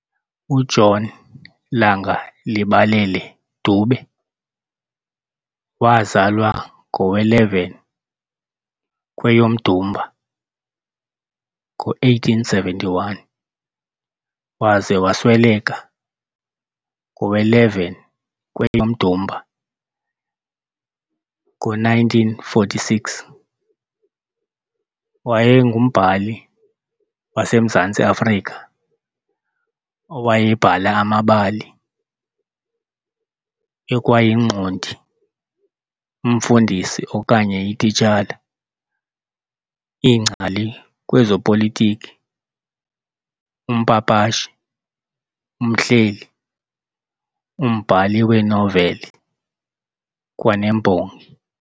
UJohn Langalibalele Dube waazalwa ngowe-11 kweyomDumba ngo-1871 - waza wasweleka ngowe-11 kweyomDumba ngo-1946, wayengumbhali wasemZantsi Afrika owayebhala amabali, ekwayingqondi, umfundisi okanye ititshala, ingcali kwezopolitiki, umpapashi, umhleli, umbhali weenoveli, kwanembongi.